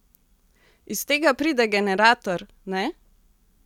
Iz tega pride generator, ne?